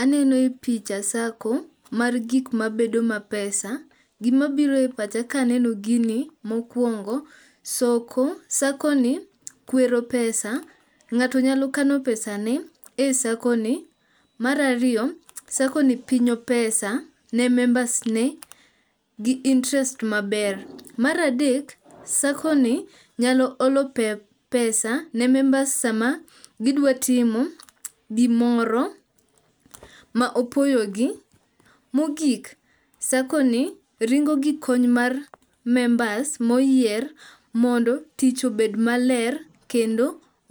Aneno e picha SACCO mar gikmabedo ma pesa. Gimabiroe pacha kaneno gini mokuongo SACCO ni kwero pesa.Ng'ato nyalo kano pesane e SACCO ni. Mar ariyo SACCO ni pinyo pesa ne members ne gi interest maber. Mar adek SACCO ni nyalo olo pesa ne members sama gidwatimo gimoro ma opoyogi .Mogik SACCO ni ringo gi kony mar members moyier mondo tich obed maler kendo